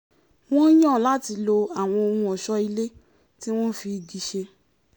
wọ́n yàn láti lo àwọn ohun ọ̀ṣọ́ ilé tí wọ́n fi igi ṣe